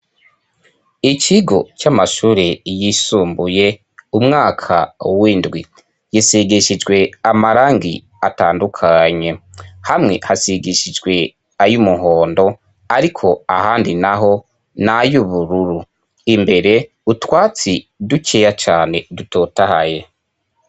Ikigo c'amashure yisumbuye umwaka w'indwi gisigishijwe amarangi atandukanye hamwe hasigishijwe ay'umuhondo ariko ahandi naho nay'ubururu imbere utwatsi dukeya cane dutotahaye.